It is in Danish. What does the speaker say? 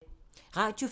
Radio 4